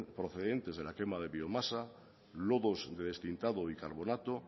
procedentes de la quema de biomasa lodos de destintado y carbonato